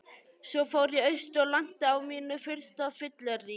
Svo fór ég austur og lenti á mínu fyrsta fylleríi.